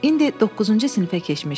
İndi doqquzuncu sinifə keçmişdik.